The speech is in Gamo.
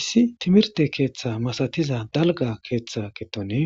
issi timirte keeththa masatiza dalga keeththa ketoni